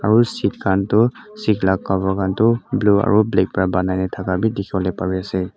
aru seat khan tu seat la cover khan tu blue aru black pa banai na thaka bi dikhi wole pari ase.